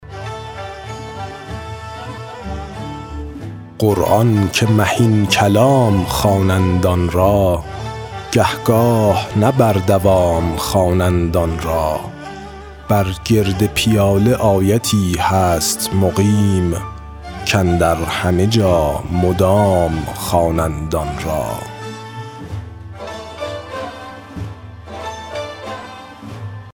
قرآن که مهین کلام خوانند آن را گه گاه نه بر دوام خوانند آن را بر گرد پیاله آیتی هست مقیم کاندر همه جا مدام خوانند آن را